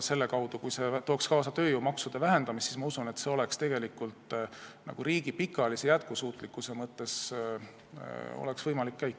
Kui see tooks kaasa tööjõumaksude vähendamise, siis, ma usun, see oleks tegelikult riigi pikaajalise jätkusuutlikkuse mõttes üks võimalusi.